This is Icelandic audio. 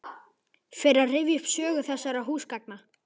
Fer að rifja upp sögu þessara húsgagna.